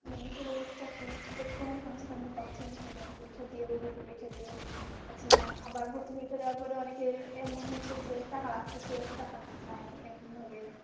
মানে এসব চাকরি পদ কোন সংস্থানে পাচ্ছে না সবাই পরীক্ষা দিয়েও পরীক্ষা দিয়েও পাচ্ছে না আবার ভর্তি পরীক্ষা দেওয়ার পরে অনেকের এমন হচ্ছে যে টাকা লাগছে টাকা নেই এরকম ভাবে